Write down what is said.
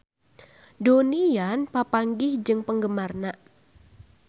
Donnie Yan papanggih jeung penggemarna